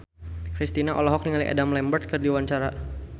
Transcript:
Kristina olohok ningali Adam Lambert keur diwawancara